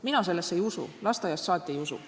Mina sellesse ei usu, lasteaiast saati ei usu.